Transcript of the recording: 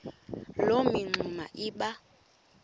loo mingxuma iba